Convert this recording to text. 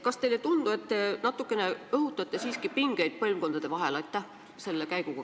Kas teile ei tundu, et te sel moel natukene siiski õhutate pingeid põlvkondade vahel?